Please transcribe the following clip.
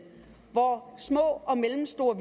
hvor små og mellemstore